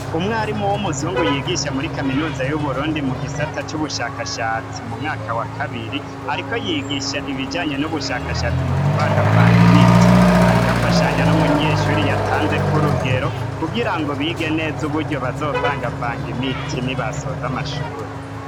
Umwarimu w'umuzungu yigisha muri kaminuza y'uburundi mu gisata c'ubushakashatsi mu mwaka wa kabiri, ariko yigisha ibijanye n'ubushakashatsi mu kuvanga vanga imiti, ariko afashanya n'umunyeshuri yatanzeko urugero kugira ngo bige neza uburyo bazovanga vanga imiti ni basoza amashure.